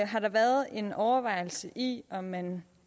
har der været en overvejelse i om man